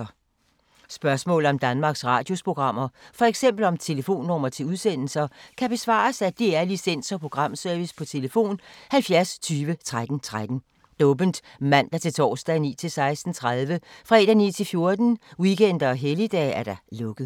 Spørgsmål om Danmarks Radios programmer, f.eks. om telefonnumre til udsendelser, kan besvares af DR Licens- og Programservice: tlf. 70 20 13 13, åbent mandag-torsdag 9.00-16.30, fredag 9.00-14.00, weekender og helligdage: lukket.